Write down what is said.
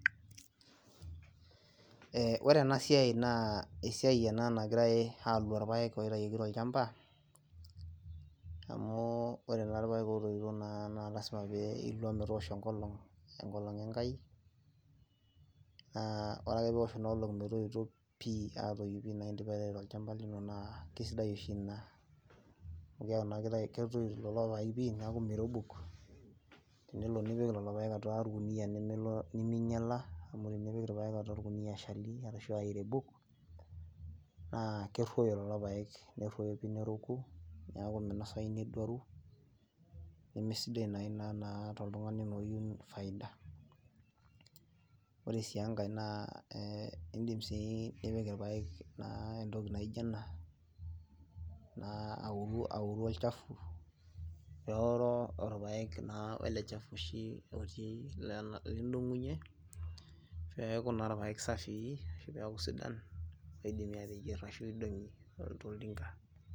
Ee ore enasiai naa esiai ena nagirae alua irpaek loitayioki tolchamba amu ore naa irpaek otoito naa lasima pee ilua metoosho enkolong , enkolong enkai , naa ore ake peosh ina olong metoito pi , atoi pi metaa indipa aitau tolchamba lino naa kesidai oshi ina amu keaku naa kitayu, ketoyu lelo paek pi , neaku mirebuk, tenelo nipik lelo paek atua orkunia niminyiala amu tenipik taa orkunia eshali ashua irebuk naa keruoyo lelo paek , neruoyo pi neroku , niaku minosayu neduaru , nemesidai naa ina taa toltungani naa oyieu faida. Ore sie enkae naa e indip sii nipik irpaek naa entoki naijo ena , naa au auru olchafu neoro orpaek naa welechafu oshi otii , lena, lindongunyie peaku naa irpaek safii ashu peaku sidan pidimi ateyier ashu idongi tiatua oltinka.